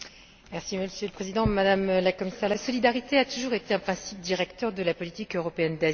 Monsieur le Président, Madame la Commissaire, la solidarité a toujours été un principe directeur de la politique européenne d'asile.